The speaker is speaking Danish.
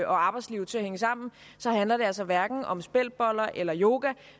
arbejdsliv til at hænge sammen handler det altså hverken om speltboller eller yoga